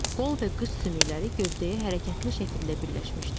Qol və qıç sümükləri gövdəyə hərəkətli şəkildə birləşmişdir.